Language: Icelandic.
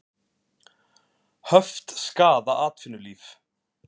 Höft skaða atvinnulíf